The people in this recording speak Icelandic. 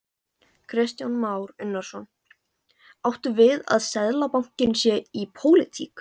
Kristján Már Unnarsson: Áttu við að Seðlabankinn sé í pólitík?